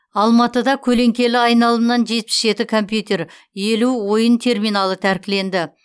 алматыда көлеңкелі айналымнан жетпіс жеті компьютер елу ойын терминалы тәркіленді